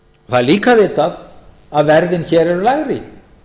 það er líka vitað að verðin hér eru lægri